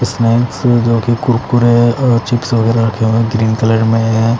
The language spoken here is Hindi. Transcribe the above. इस नेम से जो कि कुरकुरे अ चिप्स वगेरा रखे हुए हैं ग्रीन कलर में हैं।